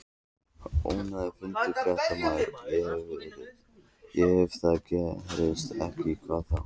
Ónefndur fréttamaður: Og ef það gerist ekki, hvað þá?